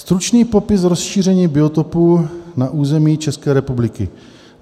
Stručný popis rozšíření biotopu na území České republiky."